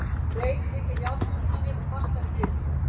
Rein þykir jarðbundnari og fastari fyrir.